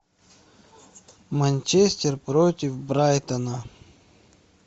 манчестер против брайтона